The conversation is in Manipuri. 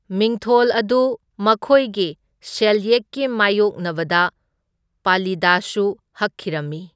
ꯃꯤꯡꯊꯣꯜ ꯑꯗꯨ ꯃꯈꯣꯢꯒꯤ ꯁꯦꯜꯌꯦꯛꯀꯤ ꯃꯥꯢꯌꯣꯛꯅꯕꯗ ꯄꯥꯂꯤꯗꯁꯨ ꯍꯛꯈꯤꯔꯝꯃꯤ꯫